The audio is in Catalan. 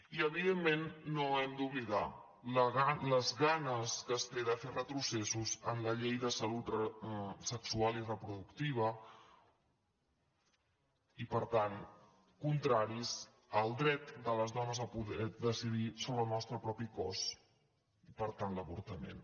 i evidentment no hem d’oblidar les ganes que es té de fer retrocessos en la llei de salut sexual i reproducti·va i per tant contraris al dret de les dones a poder de·cidir sobre el nostre propi cos per tant l’avortament